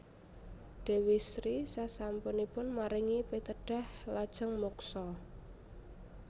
Déwi Sri sasampunipun maringi pitedhah lajeng muksa